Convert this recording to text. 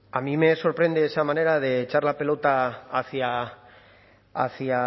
a mí me sorprende esa manera de echar la pelota hacia